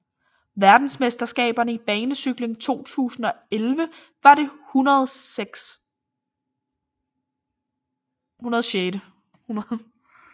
Verdensmesterskaberne i banecykling 2011 var det 106